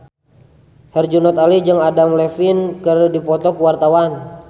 Herjunot Ali jeung Adam Levine keur dipoto ku wartawan